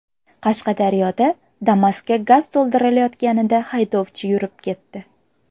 Qashqadaryoda Damas’ga gaz to‘ldirilayotganida haydovchi yurib ketdi.